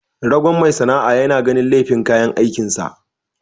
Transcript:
Ragon mai sana'a yana ganin laifin kayan aikin sa.